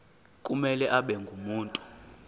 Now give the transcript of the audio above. kumele abe ngumuntu